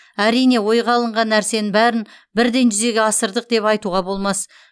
әрине ойға алынған нәрсенің бәрін бірден жүзеге асырдық деп айтуға болмас